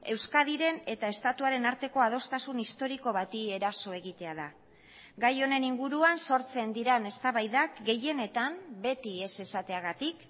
euskadiren eta estatuaren arteko adostasun historiko bati eraso egitea da gai honen inguruan sortzen diren eztabaidak gehienetan beti ez esateagatik